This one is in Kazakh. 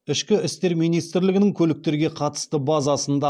ішкі істер министрлігінің көліктерге қатысты базасында